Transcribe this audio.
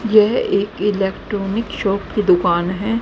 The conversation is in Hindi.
यह एक इलेक्ट्रॉनिक शॉप की दुकान है।